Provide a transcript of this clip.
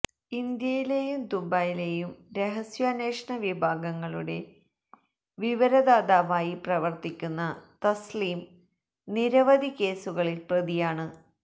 ഇന്ത്യയിലെയും ദുബൈയിലെയും രഹസ്യാന്വേഷണ വിഭാഗങ്ങളുടെ വിവരദാതാവായി പ്രവര്ത്തിക്കുന്ന തസ്ലിം നിരവധി കേസുകളില് പ്രതിയാണ്